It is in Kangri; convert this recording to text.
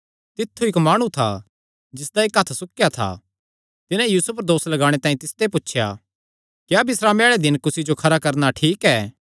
तित्थु इक्क माणु था जिसदा इक्क हत्थ सुक्केया था तिन्हां यीशु पर दोस लगाणे तांई तिसते पुछया क्या बिस्रामे आल़े दिनैं कुसी जो खरा करणा ठीक ऐ